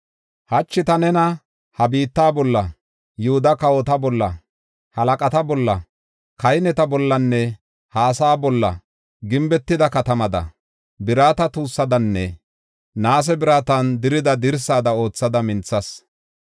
Hachi ta nena ha biitta bolla, Yihuda kawota bolla, halaqata bolla, kahineta bollanne ha asaa bolla gimbetida katamada, birata tuussadanne naase biratan dirida dirsada oothada minthas.